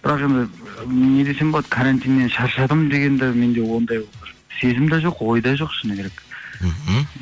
бірақ енді не десем болады карантиннен шаршадым деген де менде ондай сезім де жоқ ой да жоқ шыны керек мхм